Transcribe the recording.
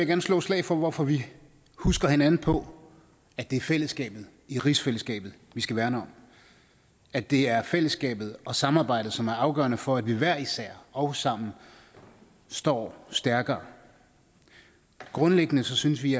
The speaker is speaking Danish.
gerne slå et slag for hvorfor vi husker hinanden på at det er fællesskabet i rigsfællesskabet vi skal værne om at det er fællesskabet og samarbejdet som er afgørende for at vi hver især og sammen står stærkere grundlæggende synes vi